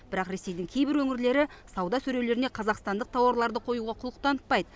бірақ ресейдің кейбір өңірлері сауда сөрелеріне қазақстандық тауарларды қоюға құлық танытпайды